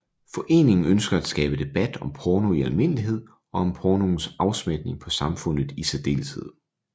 Foreningen ønsker at skabe debat om porno i almindelighed og om pornoens afsmitning på samfundet i særdeleshed